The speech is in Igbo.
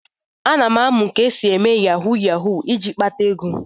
Ana m amụ ka esi eme yahu yahu iji kpata ego.